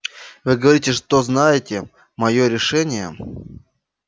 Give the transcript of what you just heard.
вы говорите что знаете моё решение